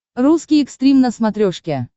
русский экстрим на смотрешке